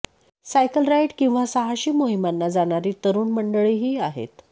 cycle ride किंवा साहसी मोहिमांना जाणारी तरुण मंडळीही आहेत